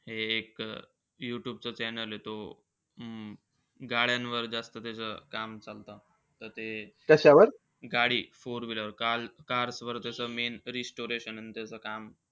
एक यूट्यूबच channel आहे. तो अं गाड्यावर त्याचं जास्त काम चालतं. त ते गाडी four wheeler cars वर त्याचं main restoration अन त्याचं काम.